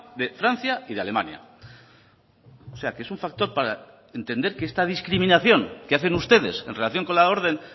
de francia y de alemania o sea que es un factor para entender que esta discriminación que hacen ustedes en relación con la orden